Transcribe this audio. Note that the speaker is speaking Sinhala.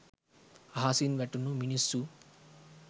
අහසින් වැටුණු මිනිස්සු'